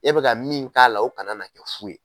E bɛ ka min k'a la o kana na kɛ fu ye.